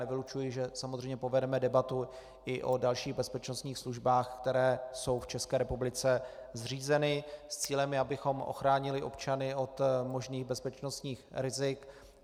Nevylučuji, že samozřejmě povedeme debatu i o dalších bezpečnostních službách, které jsou v České republice zřízeny, s cílem, abychom ochránili občany od možných bezpečnostních rizik.